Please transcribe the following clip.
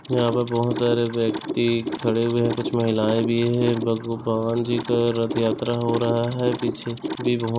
यहाँ पे बहुत सारे व्यक्ति खड़े हुए है कुछ महिलायें भी है भगवान जी का रथ यात्रा हो रहा है पीछे भी बहुत--